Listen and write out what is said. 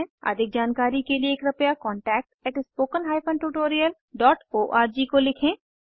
अधिक जानकारी के लिए कृपया contactspoken tutorialorg को लिखें